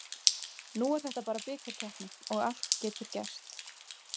Nú er þetta bara bikarkeppni og allt getur gerst.